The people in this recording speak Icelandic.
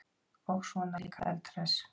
Og svona líka eldhress!